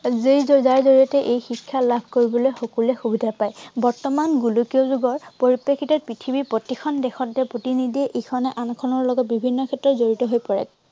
জড়িয়তে, যাৰ জড়িয়তে এই শিক্ষা লাভ কৰিবলে সকলোৱে সুবিধা পায়। বৰ্তমান গোলকীয়া যুগৰ পৰিপ্ৰেক্ষিতত পৃথিৱীৰ প্ৰতিখন দেশতে প্ৰতিনিধিয়ে ইখনে আনখনৰ লগত বিভিন্ন ক্ষেত্ৰত জড়িত হৈ পৰে।